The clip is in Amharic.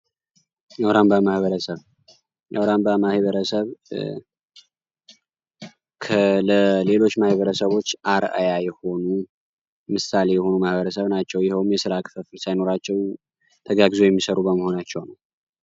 አውራምባ ማህበረሰብ ማህበረሰብ ከሌሎች ማህበረሰቦች አርአያ የሆኑ ማህበረሰብ ናቸው የሆኑ የስራ ሳይኖራቸው የሚሰሩ በመሆናቸው።